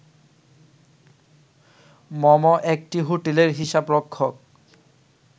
মম একটি হোটেলের হিসাবরক্ষক